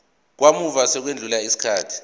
kamuva sekwedlule isikhathi